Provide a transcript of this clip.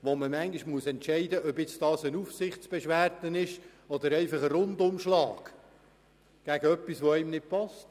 Man muss beurteilen, ob es sich dabei um eine Aufsichtsbeschwerde oder um einen Rundumschlag handelt.